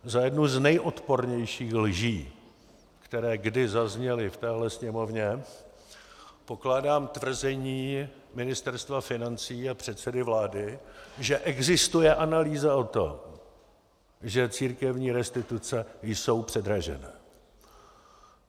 Za jednu z nejodpornějších lží, které kdy zazněly v téhle Sněmovně, pokládám tvrzení Ministerstva financí a předsedy vlády, že existuje analýza o tom, že církevní restituce jsou předražené.